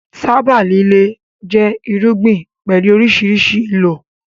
Tábà líle jẹ́ irúgbìn pẹ̀lú oríṣiríṣi ìlò